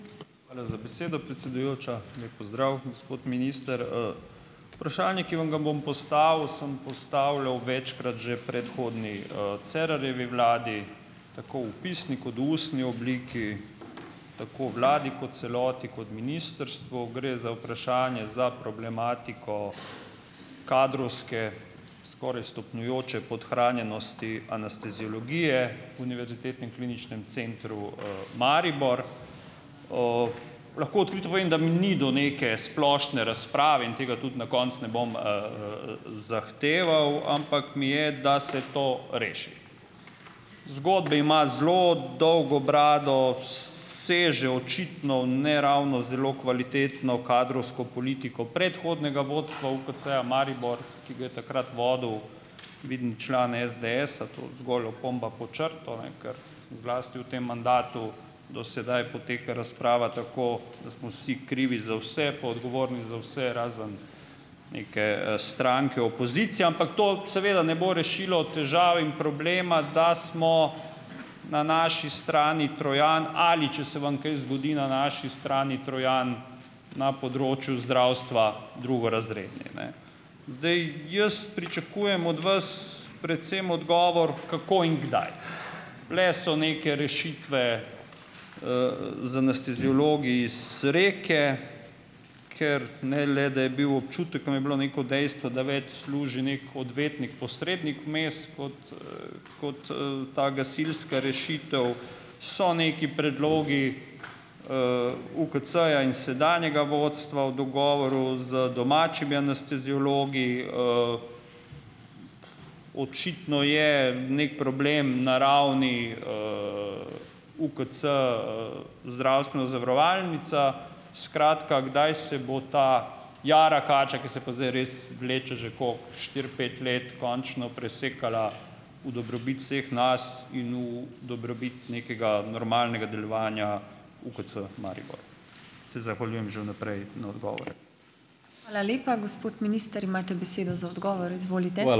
Hvala za besedo, predsedujoča! Lep pozdrav, gospod minister! Vprašanje, ki vam ga bom postavil, sem postavljal večkrat že predhodni, Cerarjevi vladi, tako v pisni kot v ustni obliki, tako vladi kot celoti kot ministrstvu. Gre za vprašanje za problematiko kadrovske, skoraj stopnjujoče podhranjenosti anesteziologije Univerzitetnem Kliničnem centru, Maribor. Lahko odkrito povem, da mi ni do neke splošne razprave in tega tudi na koncu ne bom, zahteval, ampak mi je, da se to reši. Zgodbe ima zelo dolgo brado, seže očitno v ne ravno zelo kvalitetno kadrovsko politiko predhodnega vodstva UKC-ja Maribor, ki ga je takrat vodil vidim član SDS-a, to zgolj opomba pod črto, ne, ker zlasti v tem mandatu do sedaj poteka razprava tako, da smo vsi krivi za vse, pa odgovorni za vse, razen neke, stranke opozicije, ampak to seveda ne bo rešilo težav in problema, da smo na naši strani Trojan ali, če se vam kaj zgodi, na naši strani Trojan, na področju zdravstva, drugorazredni, ne. Zdaj, jaz pričakujem od vas predvsem odgovor, kako in kdaj. Bile so neke rešitve, z anesteziologi iz Reke, ker, ne le, da je bil občutek, tam je bilo neko dejstvo, da več služi nekaj odvetnik, posrednik vmes kot, kot, ta gasilska rešitev. So neki predlogi, UKC-ja in sedanjega vodstva v dogovoru z domačimi anesteziologi. Očitno je neki problem na ravni, UKC - zdravstvena zavarovalnica. Skratka, kdaj se bo ta jara kača, ki se pa zdaj res vleče že, koliko, štiri, pet let končno presekala v dobrobit vseh nas in v dobrobit nekega normalnega delovanja UKC Maribor. Se zahvaljujem že v naprej na odgovore.